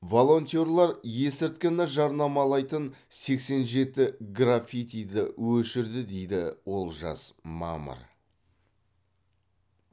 волонтерлер есірткіні жарнамалайтын сексен жеті граффитиді өшірді дейді олжас мамыр